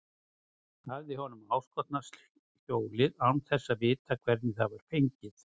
Hafði honum áskotnast hjólið án þess að vita hvernig það var fengið?